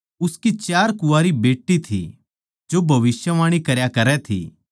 उसकी चार कुँवारी बेट्टी थी जो भविष्यवाणी करया करै थी